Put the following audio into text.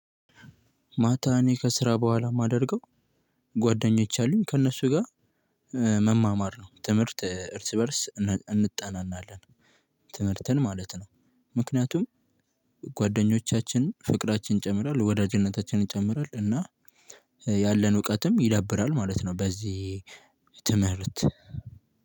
ማታ እኔ ከስራ በኋላ የማደርገው ጓደኞኝ አሉኝ ከእነሱ ጋር መማማር ነው ትምህርት እርስ በእርስ እንጠናናለን ትምህርትን ማለት ነው። ምክንያቱም ጓደኞቻችን ፍቅራችን ይጨምራል ወዳጅነታችንን ይጨምራል እና ያለን እውቀትም ይዳብራል ማለት ነው። በዚህ ትምህርት